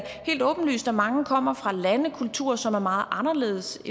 helt åbenlyst at mange kommer fra lande og kulturer som er meget anderledes